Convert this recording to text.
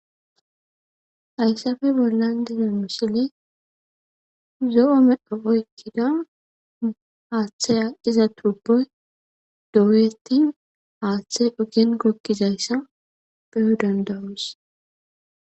ayssafe bollan dina misili zo7o medho oykkida aaththaya iza tuboy dowuyeti aaththey ugen gokkizayssa beyo dandawus